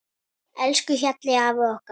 Elsku Hjalli afi okkar.